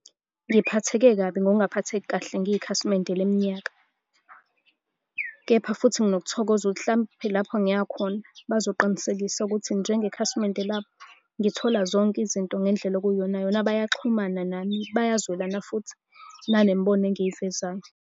Ngiphatheke kabi ngokungaphatheki kahle ngiyikhasimende leminyaka, kepha futhi nginokuthokoza ukuthi hlampe lapho ngiya khona bazoqinisekisa ukuthi njengekhasimende labo, ngithola zonke izinto ngendlela okuyiyonayona, bayaxhumana nami, bayazwelana futhi nangemibono engiyivezayo.